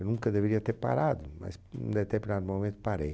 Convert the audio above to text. Eu nunca deveria ter parado, mas num deterpinado momento parei.